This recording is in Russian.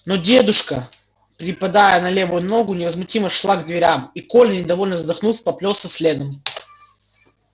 но дедушка припадая на левую ногу невозмутимо шла к дверям и коля недовольно вздохнув поплёлся следом